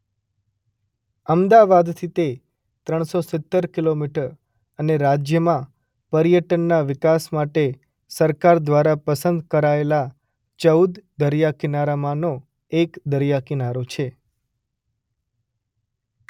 અમદાવાદથી તે ત્રણ સો સિત્તેર કિલોમીટર અને રાજ્યમાં પર્યટનના વિકાસ માટે સરકાર દ્વારા પસંદ કરાયેલા ચૌદ દરિયાકિનારામાંનો એક દરિયાકિનારો છે.